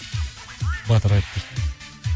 батыр айтып берсін